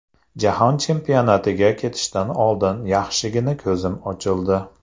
Jahon chempionatiga ketishdan oldin yaxshigina ko‘zim ochildi.